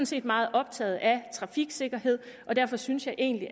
set meget optaget af trafiksikkerhed og derfor synes jeg egentlig